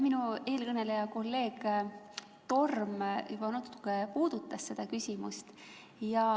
Minu eelkõneleja kolleeg Torm juba natuke puudutas seda küsimust.